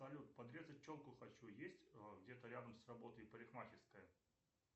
салют подрезать челку хочу есть где то рядом с работой парикмахерская